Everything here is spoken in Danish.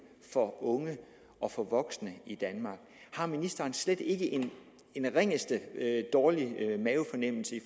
for unge og for voksne i danmark har ministeren slet ikke den ringeste dårlige mavefornemmelse i